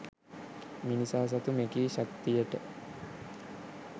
මිනිසා සතු මෙකී ශක්තියට